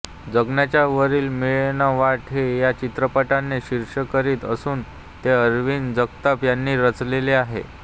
जगण्याच्या वारीत मिळेना वाट हे या चित्रपटाचे शीर्षकगीत असून ते अरविंद जगताप यांनी रचलेले आहे